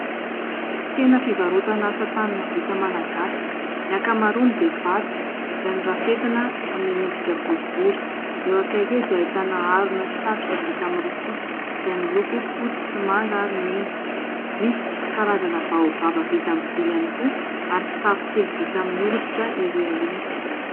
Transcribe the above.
Tsena fivarotana asa tanana vita malagasy. Ny ankamaroany dia vato izay norafetana hanome endrika boribory, eo akaiky eo dia ahitana harona sy satroka vita amin'ny rofia izay miloko fotsy sy manga ary mena ; misy karazana baobab vita amin'ny vy ihany koa ary kitapo kely vita amin'ny oditra ery aoriana.